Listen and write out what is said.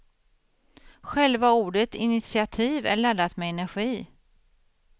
Själva ordet initiativ är laddat med energi.